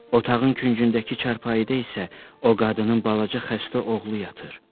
Otağın küncündəki çarpayıda isə o qadının balaca xəstə oğlu yatır.